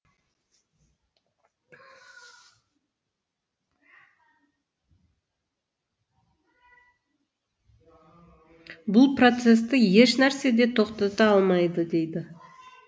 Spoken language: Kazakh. бұл процесті ешнәрсе де тоқтата алмайды дейді